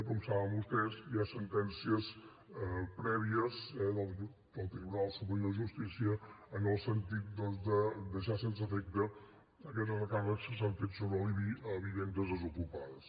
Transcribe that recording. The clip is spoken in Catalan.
com saben vostès hi ha sentències prèvies eh del tribunal superior de justícia en el sentit de deixar sense efecte aquests recàrrecs que s’han fet sobre l’ibi a vivendes desocupades